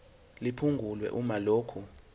liphungulwe uma lokhu